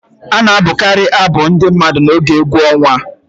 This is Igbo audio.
A na-abụkarị abụ ndị mmadụ n'oge egwu ọnwa